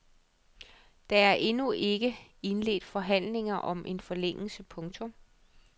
Det er endnu ikke indledt forhandlinger om en forlængelse. punktum